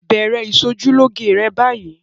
Bẹ̀rẹ̀ ìṣojúlóge rẹ báyìí!